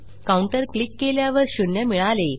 counter click केल्यावर शून्य मिळाले